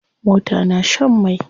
Mota na shan mai.